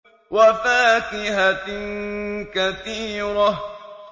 وَفَاكِهَةٍ كَثِيرَةٍ